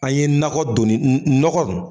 An ye nakɔ doni n n nɔgɔ